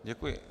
Děkuji.